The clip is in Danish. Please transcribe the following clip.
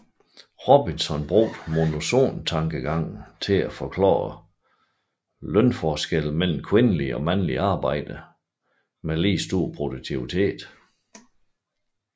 Robinson brugte monopsontankegangen til at forklare lønforskelle mellem kvindelige og mandlige arbejdere med lige stor produktivitet